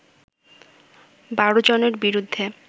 ১২ জনের বিরুদ্ধে